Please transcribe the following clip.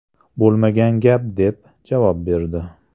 Bo‘lmagan gap” deb javob berdi.